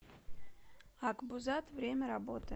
акбузат время работы